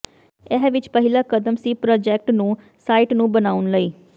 ਇਹ ਵਿਚ ਪਹਿਲਾ ਕਦਮ ਸੀ ਪ੍ਰਾਜੈਕਟ ਨੂੰ ਸਾਈਟ ਨੂੰ ਬਣਾਉਣ ਲਈ